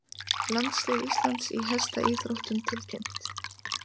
Landslið Íslands í hestaíþróttum tilkynnt